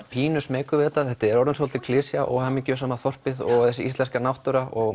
pínu smeykur við þetta þetta er orðin dálítil klisja og mikið um sama þorpið og þessi íslenska náttúra og